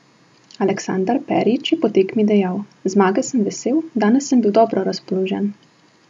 Aleksandar Perić je po tekmi dejal: "Zmage sem vesel, danes sem bil dobro razpoložen.